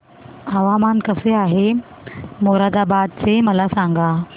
हवामान कसे आहे मोरादाबाद चे मला सांगा